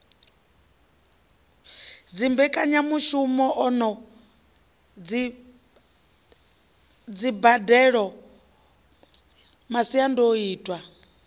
dzimbekanyamushumo na dzimbadelo masiandoitwa a